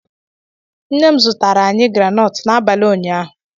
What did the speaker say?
Nne m zụtara anyị granọt n'abalị ụnyaahụ